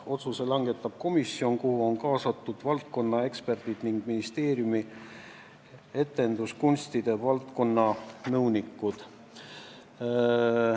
Otsuse langetab komisjon, kuhu on kaasatud valdkonnaeksperdid ning ministeeriumi etenduskunstide valdkonna nõunikud.